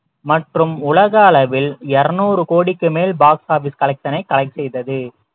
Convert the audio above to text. மற்றும் உலக அளவில் இருநூறு கோடிக்கு மேல் box office collection ஐ collect செய்தது